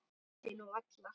Það held ég nú varla.